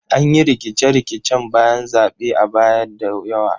An yi rikice-rikicen bayan zaɓe a baya da yawa.